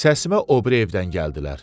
Səsimə o biri evdən gəldilər.